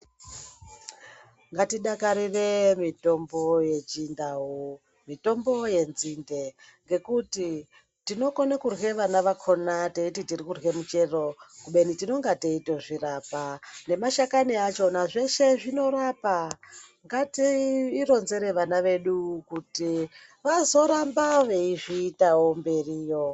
Ngatidakarire mitombo yechindau, mitombo yenzinde ngekuti tinokona kurye vana vakona teiti tiri kurya muchero kubeni tinenge teitozvirapa. Nemashakani achona zveshe zvinorapa. Ngatiironzere vana vedu kuti vazoramba veizviitawo mberiyo.